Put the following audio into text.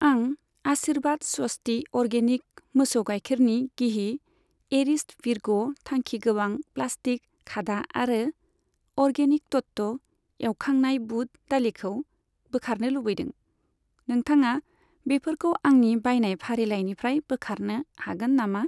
आं आशिर्बाद स्वस्ति अरगेनिक मोसौ गायखेरनि गिहि, एरिस्ट' भिरग' थांखिगोबां प्लास्टिक खादा आरो अर्गेनिक तत्व एवखांनाय बुद दालिखौ बोखारनो लुबैदों, नोंथाङा बेफोरखौ आंनि बायनाय फारिलाइनिफ्राय बोखारनो हागोन नामा?